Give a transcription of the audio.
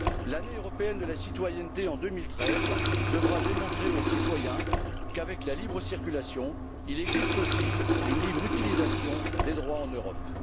L'année européenne de la citoyenneté en 2013 devra démontrer aux citoyens qu'avec la libre circulation, il existe aussi une libre utilisation des droits en Europe.